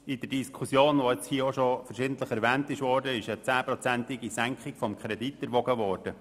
In der Diskussion ist – wie verschiedentlich erwähnt – eine 10-prozentige Senkung des Kredits in Erwägung gezogen worden.